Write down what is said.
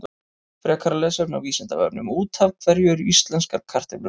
Frekara lesefni á Vísindavefnum: Út af hverju eru íslenskar kartöflur rauðar?